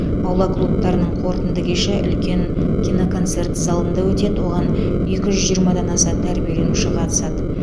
аула клубтарының қорытынды кеші үлкен киноконцерт залында өтеді оған екі жүз жиырмадан аса тәрбиеленуші қатысады